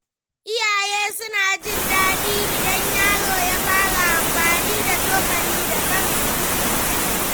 Iyaye suna jin daɗi idan yaro ya fara amfani da cokali da kansa.